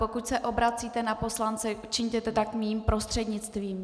Pokud se obracíte na poslance, čiňte to tak mým prostřednictvím.